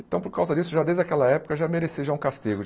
Então, por causa disso, já desde aquela época, já merecia já um castigo.